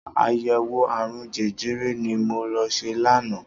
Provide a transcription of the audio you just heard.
Àyẹ̀wò ààrùn jẹjẹrẹ ni mo lọ ṣe lánàá.